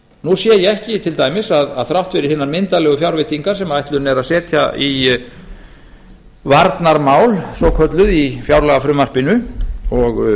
nú sé ég ekki til dæmis að þrátt fyrir hinar myndarlegu fjárveitingar sem ætlunin er að setja í varnarmál svokölluð í fjárlagafrumvarpinu og